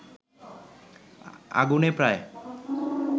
আগুনে প্রায়